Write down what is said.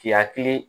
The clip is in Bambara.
K'i hakili